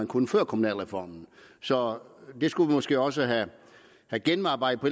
kunne før kommunalreformen så det skulle vi måske også have gennemarbejdet på